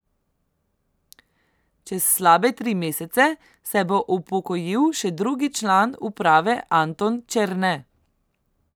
Čez slabe tri mesece se bo upokojil še drugi član uprave Anton Černe.